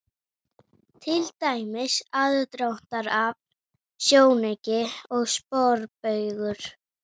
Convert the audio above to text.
Til dæmis: aðdráttarafl, sjónauki og sporbaugur.